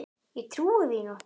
Ég trúi því nú ekki.